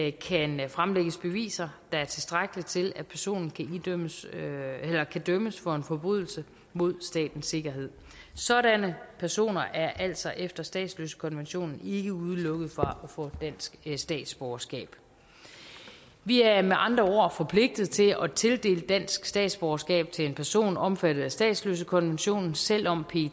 ikke kan fremlægge beviser der er tilstrækkelige til at personen kan dømmes dømmes for en forbrydelse mod statens sikkerhed sådanne personer er altså efter statsløsekonventionen ikke udelukket fra at få dansk statsborgerskab vi er med andre ord forpligtet til at tildele dansk statsborgerskab til en person er omfattet af statsløsekonventionen selv om